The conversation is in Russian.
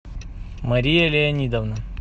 мария леонидовна